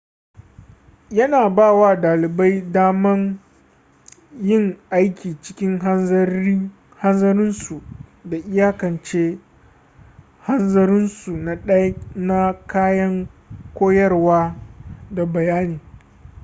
yana ba wa dalibai daman yin aiki cikin hanzarinsu da iyakance hanzarinsu na kayan koyarwa da bayani